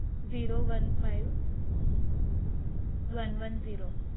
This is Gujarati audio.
zero one five one one zero